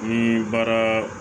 Ni baara